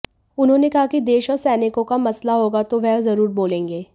उन्होंने कहा कि देश और सैनिकों का मसला होगा तो वह जरूर बोलेंगे